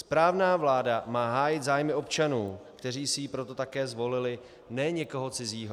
Správná vláda má hájit zájmy občanů, kteří si ji proto také zvolili, ne někoho cizího.